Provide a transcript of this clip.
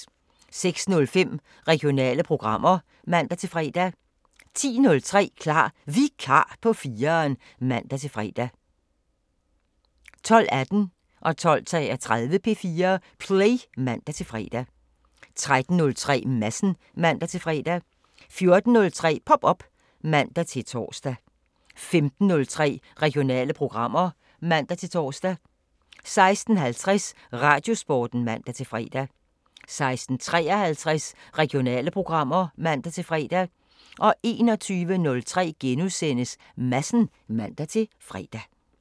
06:05: Regionale programmer (man-fre) 10:03: Klar Vikar på 4'eren (man-fre) 12:18: P4 Play (man-fre) 12:33: P4 Play (man-fre) 13:03: Madsen (man-fre) 14:03: Pop op (man-tor) 15:03: Regionale programmer (man-tor) 16:50: Radiosporten (man-fre) 16:53: Regionale programmer (man-fre) 21:03: Madsen *(man-fre)